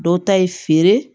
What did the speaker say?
Dɔw ta ye feere